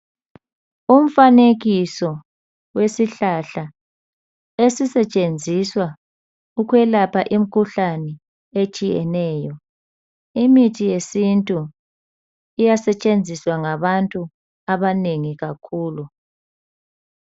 Umfanekiso wesihlahla esisetshenziswa ukwelapha imkhuhlane etshiyeneyo . Imithi yesintu iyasetshenziswa ngabantu abanengi kakhulu .